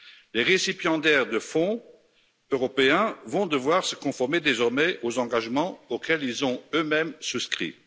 Les récipiendaires de fonds européens vont devoir se conformer désormais aux engagements auxquels ils ont eux mêmes souscrit.